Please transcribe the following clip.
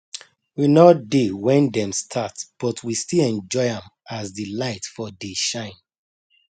we nor dey when dem start but we still enjoy am as the light for dey shine